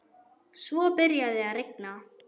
Svo byrjaði að rigna.